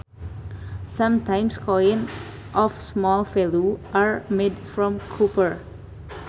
Sometimes coins of small value are made from copper